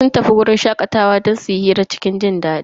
Sun tafi wajen shakatawa don su yi hira cikin jindadi.